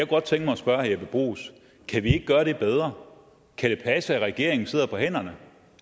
godt tænke mig at spørge herre bruus kan vi ikke gøre det bedre kan det passe at regeringen sidder på hænderne